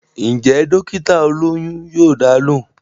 Ǹjẹ́ dọ́kítà olóyún yóò dá a lóhùn